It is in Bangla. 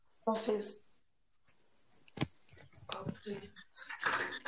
Arbi